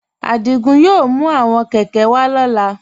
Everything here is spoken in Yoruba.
Adígún yóò mú àwọn kẹ̀kẹ̀ wà lọla.